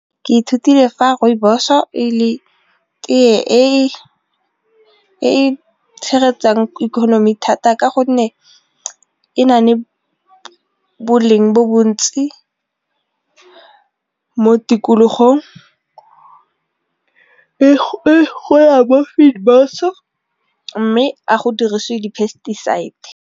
Ke ithutile fa rooibos-o e le tee e e tshegetsang economy thata ka gonne e na le boleng bo bontsi mo tikologong e gola mme a go dirisiwe di-pesticides.